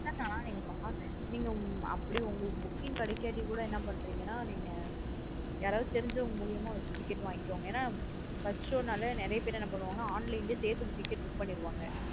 இல்லா நா நீங்க அப்டி உங்களுக்கு book கிங் கிடைக்கட்டி கூட என்ன பன்றிங்கனா. நீங்க யாராவது தெரிஞ்சவங்க முலியமா வச்சு ticket வாங்கிகோங்க. ஏன்னா first show நாள நிறைய பேர் என்ன பண்ணுவாங்கனு online லாயே Safe க்கு ticket பண்ணீருவாங்க.